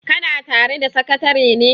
kana tare da sakatare ne?